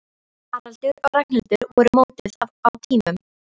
Haraldur og Ragnhildur voru mótuð á tímum